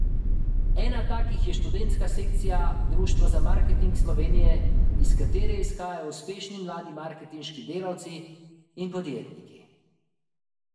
Ena takih je Študentska sekcija Društva za marketing Slovenije, iz katere izhajajo uspešni mladi marketinški delavci in podjetniki.